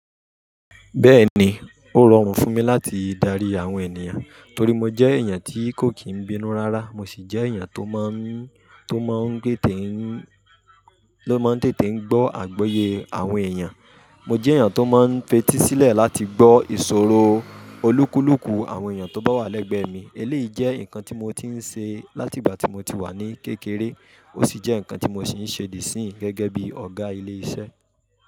Bẹ́ẹ̀ni, ó rọrùn fún mi láti dárí àwọn ènìyàn torí mo jẹ́ èèyàn tí kò kìí bínú rárá. Mo si jẹ èèyàn tó maa n tètè n gbọ agbọye àwọn èeyàn. Mo jẹ́ èèyàn tó máa ń f'etí sílẹ̀ láti gbọ́ ìṣòro olúkúlùkù àwọn èèyàn tó bá wà lẹ́gbẹ̀ẹ́ mi. Eléyìí jẹ́ nǹkan tí mo ti ń ṣe láti ìgbà tí mo ti wà ní kékeré. Ó sì jẹ́ nǹkan tí mo sì ń ṣe di isìn gẹ́gẹ́ bí ọ̀gá ilé iṣẹ́.